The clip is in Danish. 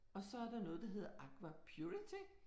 Og så er der noget der hedder Aqua purity